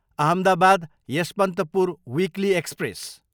Ahmedabad, Yesvantpur weekly express